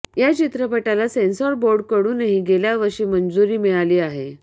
या चित्रपटाला सेन्सॉर बोर्डकडूनही गेल्यावर्षी मंजूरी मिळाली आहे